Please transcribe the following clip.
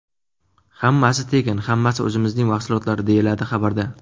Hammasi tekin, hammasi o‘zimizning mahsulotlar”, deyiladi xabarda.